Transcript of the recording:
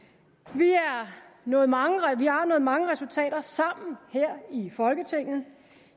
vi har nået mange mange resultater sammen her i folketinget